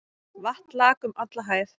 Vatn lak um alla hæð.